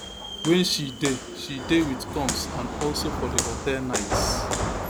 wen she dey she dey wit combs and also for di hotel nights